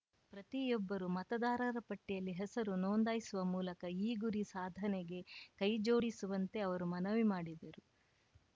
ಪ್ರತಿಯೊಬ್ಬರೂ ಮತದಾರರ ಪಟ್ಟಿಯಲ್ಲಿ ಹೆಸರು ನೋಂದಾಯಿಸುವ ಮೂಲಕ ಈ ಗುರಿ ಸಾಧನೆಗೆ ಕೈಜೋಡಿಸುವಂತೆ ಅವರು ಮನವಿ ಮಾಡಿದರು